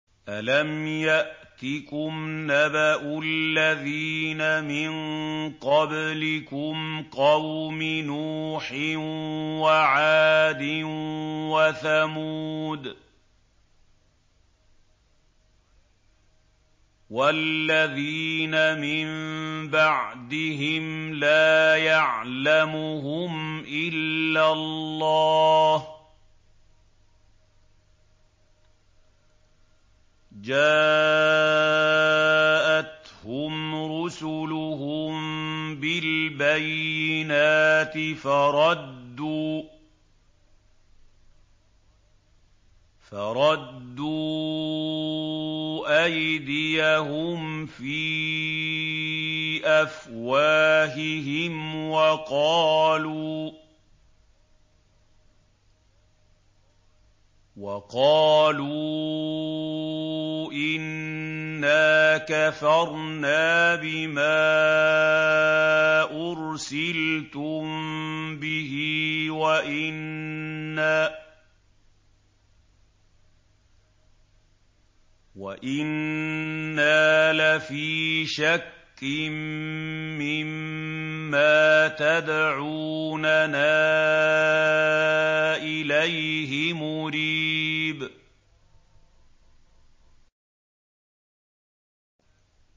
أَلَمْ يَأْتِكُمْ نَبَأُ الَّذِينَ مِن قَبْلِكُمْ قَوْمِ نُوحٍ وَعَادٍ وَثَمُودَ ۛ وَالَّذِينَ مِن بَعْدِهِمْ ۛ لَا يَعْلَمُهُمْ إِلَّا اللَّهُ ۚ جَاءَتْهُمْ رُسُلُهُم بِالْبَيِّنَاتِ فَرَدُّوا أَيْدِيَهُمْ فِي أَفْوَاهِهِمْ وَقَالُوا إِنَّا كَفَرْنَا بِمَا أُرْسِلْتُم بِهِ وَإِنَّا لَفِي شَكٍّ مِّمَّا تَدْعُونَنَا إِلَيْهِ مُرِيبٍ